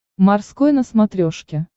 морской на смотрешке